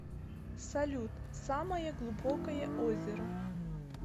салют самое глубокое озеро